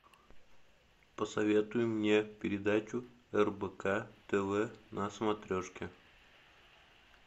посоветуй мне передачу рбк тв на смотрешке